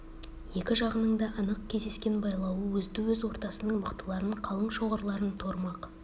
екі жағының да анық кесескен байлауы өзді-өз ортасының мықтыларын қалың шоғырларын торымақ